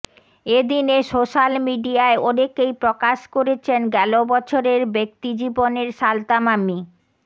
এ দিনে সোশ্যাল মিডিয়ায় অনেকেই প্রকাশ করেছেন গেল বছরের ব্যক্তি জীবনের সালতামামি